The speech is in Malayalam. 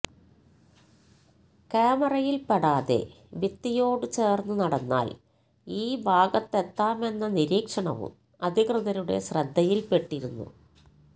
കാമറയിൽപ്പെടാതെ ഭിത്തിയോട് ചേർന്ന് നടന്നാൽ ഈ ഭാഗത്തെത്താമെന്ന നീക്ഷണവും അധികൃതരുടെ ശ്രദ്ധിയിൽപ്പെട്ടിരുന്നു